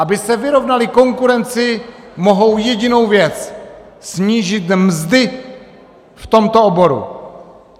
Aby se vyrovnali konkurenci, mohou jedinou věc - snížit mzdy v tomto oboru.